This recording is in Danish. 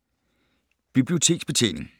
Biblioteksbetjening